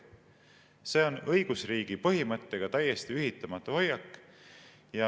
See on õigusriigi põhimõttega täiesti ühitamatu hoiak.